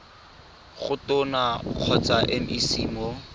go tona kgotsa mec mo